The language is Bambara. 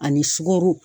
Ani sugɔro